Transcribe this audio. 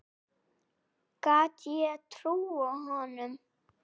Gat ég trúað honum?